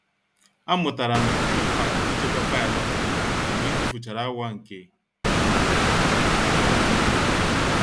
A mụtara m mkpa ịchekwa faịlụ dị mgbe m tufuchara awa nke agamnihu.